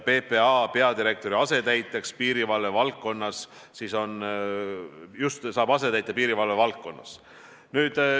PPA peadirektor saab asetäitja piirivalve valdkonnas.